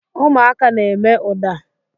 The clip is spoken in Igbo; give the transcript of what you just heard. Ụmụaka na-eme ụda.